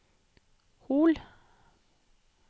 Hol